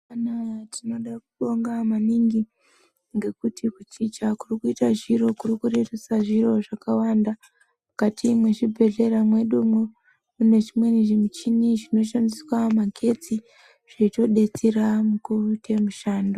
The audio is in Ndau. Tinoda kubonga maningi ngekuti kuchicha kuri kuita zviro kuri kurerusa zviro zvakawanda. Mukati mwezvibhehlera mwedumwo ,mune zvimweni zvimichini zvinoshandisa magetsi, zveitodetsera mukuite mushando.